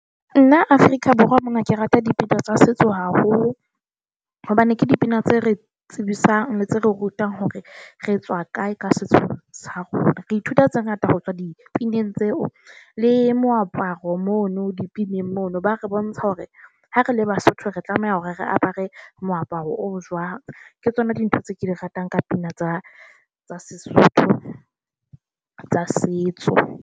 Nna Afrika Borwa mona ke rata dipina tsa setso haholo hobane ke dipina tse re tsebisang le tse re rutang hore re tswa kae ka setso sa rona. Re ithuta tse ngata ho tswa dipineng tseo. Le moaparo mono dipineng mono ba re bontsha hore ha re le Basotho re tlameha hore re apare moaparo o jwang ke tsona dintho tse ke di ratang ka pina tsa tsa Sesotho tsa setso.